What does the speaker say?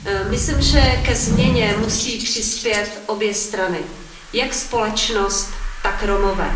Myslím, že ke změně musí přispět obě strany, jak společnost, tak Romové.